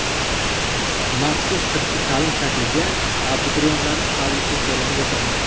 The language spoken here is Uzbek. Maxsus sirtqi ta’lim shakliga abituriyentlarni qabul qilish jarayoni boshlandi.